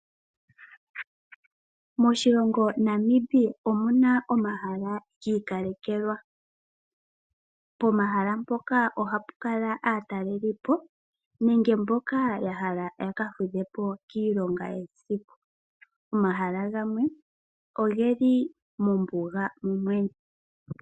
Moshilongo Namibia omuna omahala gi ikalekelwa. Pomahala mpoka, oha pu kala aataleli po nenge mboka ya hala ya ka fudhe po kiilonga yesiku. Momahala gamwe ogeli mombuga momwene.